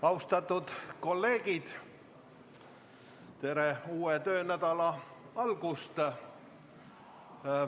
Austatud kolleegid, tere uue töönädala algust!